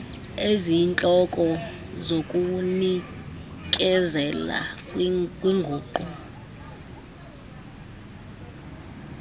eziyintloko zokuzinikezela kwinguqu